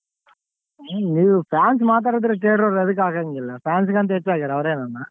ನೀವ್ fans ಮಾತಡಿದ್ರೆ theatre ಅವ್ರ್ ಎದಕ್ ಹಾಕಂಗಿಲ್ಲ fans ಗಿಂತ ಹೆಚ್ಚಾಗ್ಯಾರ ಅವ್ರ್ ಏನನ.